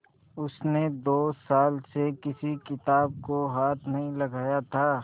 उसने दो साल से किसी किताब को हाथ नहीं लगाया था